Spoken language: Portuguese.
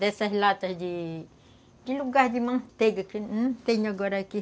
Dessas latas de... De lugar de manteiga, que não tenho agora aqui.